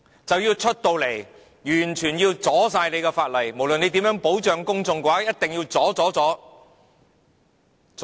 他們要站出來，完全阻撓法例，無論你怎樣保障公眾，也一定要阻、阻、阻......